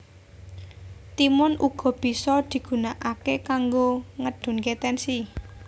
Timun uga bisa digunakake kanggo ngedunke tensi